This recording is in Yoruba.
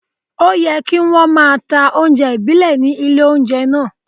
Òyẹ kí wón máa ta oúnjẹ ìbílẹ̀ ní ilé oúnjẹ náà.